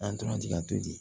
An tora ji ka to di